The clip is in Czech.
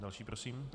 Další prosím.